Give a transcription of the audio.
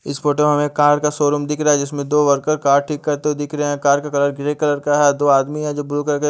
इस फोटो में हमे कार शोरूम दिख रहा है जिसमे दो वर्कर कार ठीक करते हुए दिख रहे है कार का कलर ग्रे कलर का है दो आदमी है जो ब्लू कलर के--